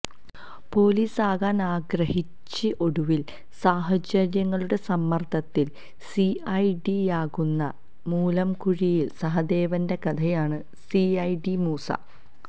പൊലീസാകാന് ആഗ്രിഹച്ചി ഒടുവില് സാഹചര്യങ്ങളുടെ സമ്മര്ദ്ദത്തില് സി ഐ ഡിയാകുന്ന മൂലംകുഴിയില് സഹദേവന്റെ കഥയാണ് സി ഐ ഡി മൂസ